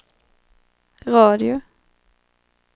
radio